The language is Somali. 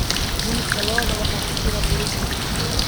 Hilibka lo'da waxaa ku jira borotiin.